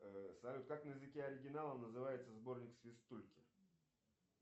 салют как на языке оригинала называется сборник свистульки